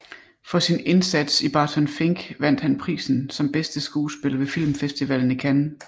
For sin indsats i Barton Fink vandt han prisen som bedste skuespiller ved filmfestivalen i Cannes